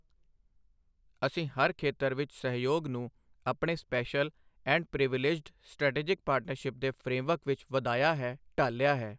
ਅਸੀਂ ਹਰ ਖੇਤਰ ਵਿੱਚ ਸਹਿਯੋਗ ਨੂੰ ਆਪਣੇ special and privileged strategic partnership ਦੇ ਫਰੇਮਵਰਕ ਵਿੱਚ ਵਧਾਇਆ ਹੈ, ਢਾਲਿਆ ਹੈ।